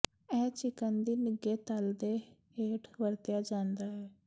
ਇਹ ਚਿਕਨ ਦੀ ਨਿੱਘੇ ਤਲ ਦੇ ਹੇਠ ਵਰਤਿਆ ਜਾਂਦਾ ਹੈ